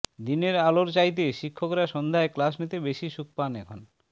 দিনের আলোর চাইতে শিক্ষকরা সন্ধ্যায় ক্লাস নিতে বেশি সুখ পান এখন